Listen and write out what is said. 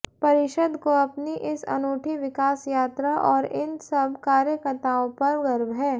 परिषद को अपनी इस अनूठी विकास यात्रा और इन सब कार्यकताओं पर गर्व है